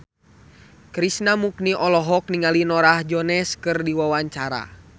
Krishna Mukti olohok ningali Norah Jones keur diwawancara